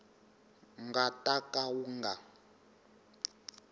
nga ta ka wu nga